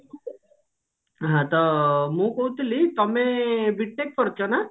ହଁ ତ ମୁଁ କହୁଥିଲି ତମେ B. TECH କରିଛ ନା?